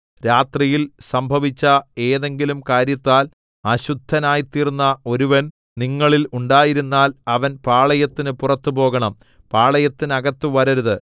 രാത്രിയിൽ സംഭവിച്ച ഏതെങ്കിലും കാര്യത്താൽ അശുദ്ധനായ്തീർന്ന ഒരുവൻ നിങ്ങളിൽ ഉണ്ടായിരുന്നാൽ അവൻ പാളയത്തിന് പുറത്തുപോകണം പാളയത്തിനകത്ത് വരരുത്